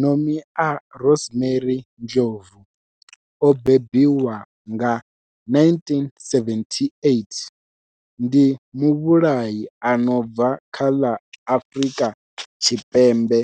Nomia Rosemary Ndlovu o bebiwaho nga, 1978, ndi muvhulahi a no bva kha ḽa Afurika Tshipembe